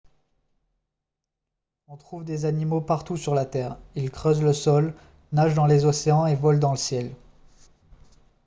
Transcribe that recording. on trouve des animaux partout sur la terre ils creusent le sol nagent dans les océans et volent dans le ciel